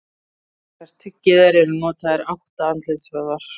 Þegar tuggið er eru notaðir átta andlitsvöðvar.